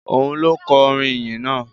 Òun ló kọ orin ìyìn náà?